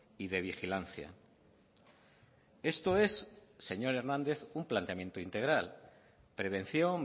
y de vigilancia esto es señor hernández un planteamiento integral prevención